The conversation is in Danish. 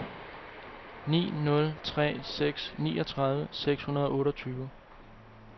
ni nul tre seks niogtredive seks hundrede og otteogtyve